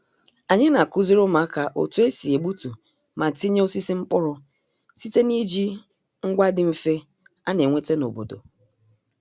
Anyị na-akụziri ụmụaka otu e si egbutu ma tinye osisi mkpụrụ site n'iji ngwa dị mfe a na-enweta n'obodo